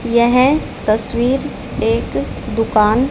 यह तस्वीर एक दुकान--